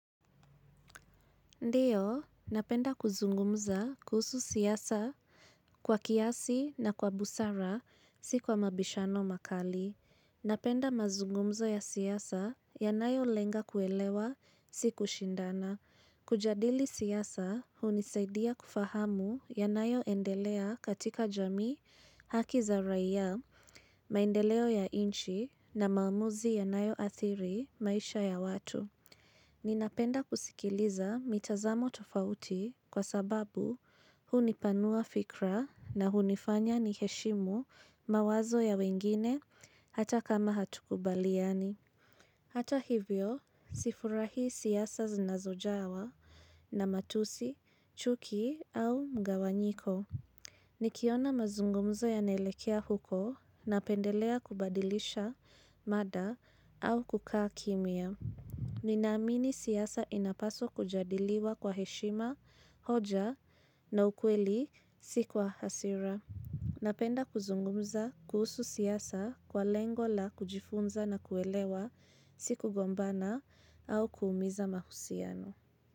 Ndiyo, napenda kuzungumza kuhusu siyasa kwa kiasi na kwa busara, si kwa mabishano makali. Napenda mazungumza ya siyasa ya nayo lenga kuelewa, si kushindana. Kujadili siyasa, hunisaidia kufahamu ya nayo endelea katika jamii, haki za raia, maendeleo ya inchi, na maumuzi ya nayo athiri, maisha ya watu. Ninapenda kusikiliza mitazamo tofauti kwa sababu hunipanua fikra na hunifanya niheshimu mawazo ya wengine hata kama hatukubaliani. Hata hivyo, sifurahi siyasa zinazojawa na matusi, chuki au mgawanyiko. Nikiona mazungumzo yanaelekea huko na pendelea kubadilisha mada au kukaa kimia. Ninaamini siyasa inapaswa kujadiliwa kwa heshima, hoja na ukweli si kwa hasira. Napenda kuzungumza kuhusu siyasa kwa lengo la kujifunza na kuelewa siku gombana au kuumiza mahusiano.